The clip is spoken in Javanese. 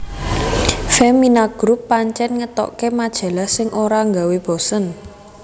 Femina Group pancen ngetoke majalh sing ora nggawe bosen